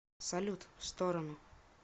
салют в сторону